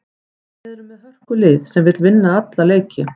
Við erum með hörkulið sem vill vinna alla leiki.